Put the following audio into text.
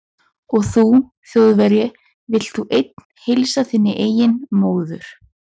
Og þú Þjóðverji, vilt þú einn heilsa þinni eigin móður